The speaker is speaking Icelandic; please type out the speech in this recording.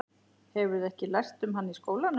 Hefurðu ekki lært um hann í skólanum?